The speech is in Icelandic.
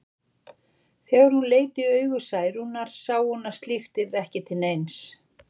En þegar hún leit í augu Særúnar sá hún að slíkt yrði ekki til neins.